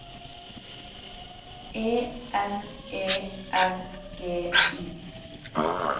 E N E R G I